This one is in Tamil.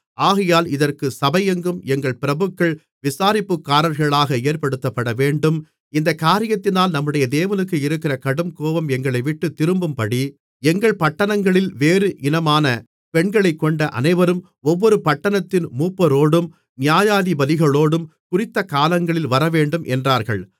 ஆகையால் இதற்கு சபையெங்கும் எங்கள் பிரபுக்கள் விசாரிப்புக்காரர்களாக ஏற்படுத்தப்படவேண்டும் இந்தக் காரியத்தினால் நம்முடைய தேவனுக்கு இருக்கிற கடுங்கோபம் எங்களைவிட்டுத் திரும்பும்படி எங்கள் பட்டணங்களில் வேறு இனமான பெண்களைக்கொண்ட அனைவரும் ஒவ்வொரு பட்டணத்தின் மூப்பரோடும் நியாயாதிபதிகளோடும் குறித்தகாலங்களில் வரவேண்டும் என்றார்கள்